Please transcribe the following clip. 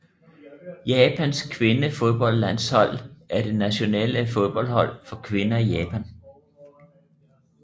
Japans kvindefodboldlandshold er det nationale fodboldhold for kvinder i Japan